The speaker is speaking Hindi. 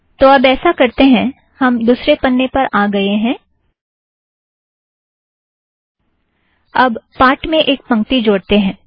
तो अब ऐसा करतें हैं - हम दुसरे पन्ने पर आ गएं हैं - अब पाठ में एक पंक्ति जोड़तें हैं